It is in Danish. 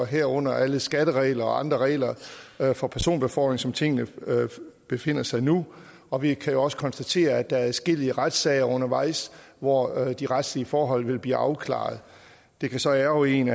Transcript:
herunder alle skatteregler og andre regler for personbefordring som tingene befinder sig nu og vi kan jo også konstatere at der er adskillige retssager undervejs hvor de retslige forhold vil blive afklaret det kan så ærgre en